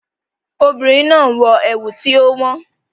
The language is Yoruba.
The woman is wearing an expensive lace